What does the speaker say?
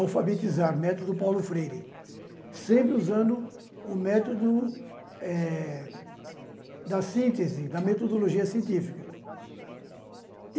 alfabetizar, método Paulo Freire, sempre usando o método eh da síntese, da metodologia científica.